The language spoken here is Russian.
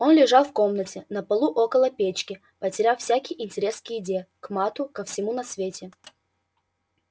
он лежал в комнате на полу около печки потеряв всякий интерес к еде к матту ко всему на свете